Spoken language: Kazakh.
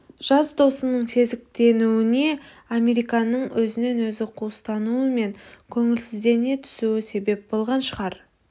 жас досының сезіктенуіне американның өзінен өзі қуыстануы мен көңілсіздене түсуі себеп болған шығар